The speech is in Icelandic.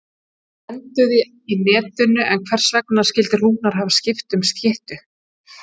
Bæði enduðu í netinu en hvers vegna skildi Rúnar hafa skipt um skyttu?